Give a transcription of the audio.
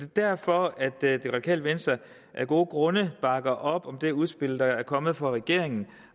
derfor at det radikale venstre af gode grunde bakker op om det udspil der er kommet fra regeringen